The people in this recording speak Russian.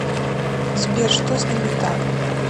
сбер что с ним не так